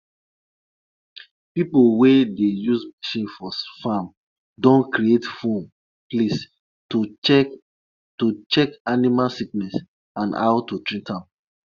the elders believe say animals wey come feast on to say them um no invite them them dey carry spiritual messages be dat.